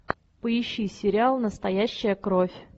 поищи сериал настоящая кровь